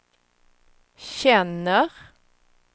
känner